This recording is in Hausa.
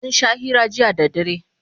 sun Sha hira jiya da dare